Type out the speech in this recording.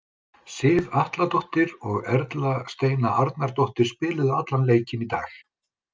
Sif Atladóttir og Erla Steina Arnardóttir, spiluðu allan leikinn í dag.